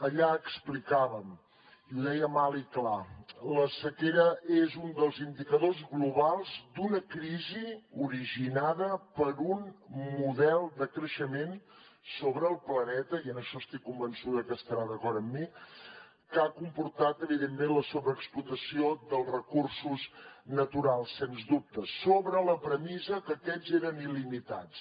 allà explicàvem i ho dèiem alt i clar la sequera és un dels indicadors globals d’una crisi originada per un model de creixement sobre el planeta i en això estic convençuda que està d’acord amb mi que ha comportat evidentment la sobreexplotació dels recursos naturals sens dubte sobre la premissa que aquests eren il·limitats